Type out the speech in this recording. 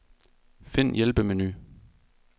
Find hjælpemenu.